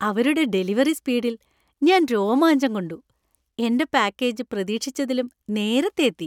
അവരുടെ ഡെലിവറി സ്പീഡിൽ ഞാൻ രോമാഞ്ചം കൊണ്ടു. എന്‍റെ പാക്കേജ് പ്രതീക്ഷിച്ചതിലും നേരത്തെ എത്തി!